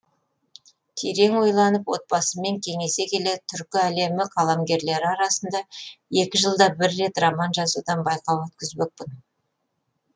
терең ойланып отбасыммен кеңесе келе түркі әлемі қаламгерлері арасында екі жылда бір рет роман жазудан байқау өткізбекпін